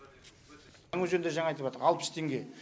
жаңаөзенде жаңа айтыватыр алпыс теңге